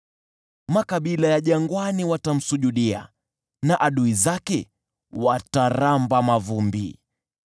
Makabila ya jangwani watamsujudia, na adui zake wataramba mavumbi.